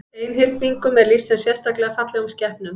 Einhyrningum er lýst sem sérstaklega fallegum skepnum.